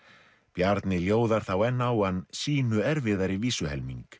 Bjarni þá enn á hann sýnu erfiðari